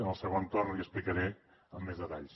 en el segon torn l’hi explicaré amb més detalls